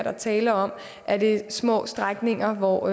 er tale om er det små strækninger hvor